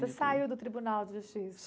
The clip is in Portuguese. Você saiu do tribunal de justiça?